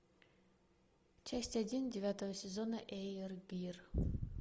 часть один девятого сезона эйр гир